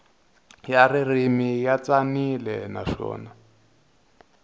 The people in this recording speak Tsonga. ya ririmi ya tsanile naswona